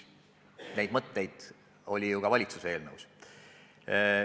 Neid mõtteid oli ju ka valitsuse eelnõus.